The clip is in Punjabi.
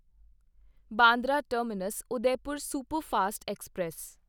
Bandra terminus Udaipur superfast express